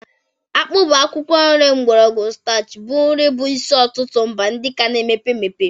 Akpu bụ akwụkwọ nri mgbọrọgwụ starchy bụ nri bụ isi n'ọtụtụ mba ndị ka na-emepe emepe.